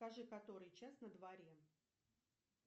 скажи который час на дворе